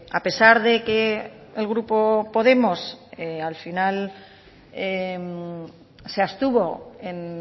a pesar de que el grupo podemos al final se abstuvo en